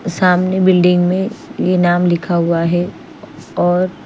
सामने बिल्डिंग में ये नाम लिखा हुआ है और--